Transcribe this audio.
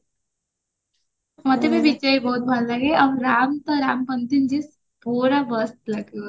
ମତେ ବି ବିଜୟ ବହୁତ ଭଲ ଲାଗେ ଆଉ ରାମ ତ ରାମ ପୁରା ମସ୍ତ